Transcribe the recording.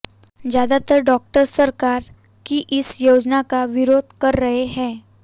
ज्यादातर डॉक्टर्स सरकार की इस योजना का विरोध कर रहे हैं